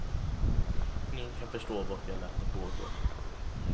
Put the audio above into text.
Ingen kan förstå varför jag lät det pågå.